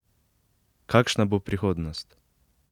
Kakšna bo prihodnost?